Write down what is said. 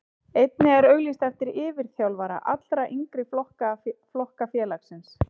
Einnig er auglýst eftir yfirþjálfara allra yngri flokka félagsins.